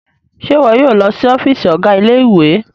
Ṣe iwọ yóò lọ sí ọfiisi ọga ilé-ìwé?